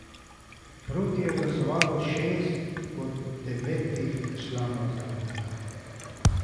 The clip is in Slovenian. Proti je glasovalo šest od devetih članov zavoda.